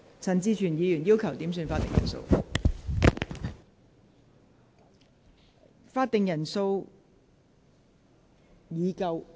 陳志全議員要求點算法定人數。